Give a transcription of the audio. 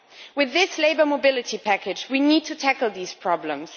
With this labour mobility package, we need to tackle these problems.